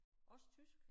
Også tysk?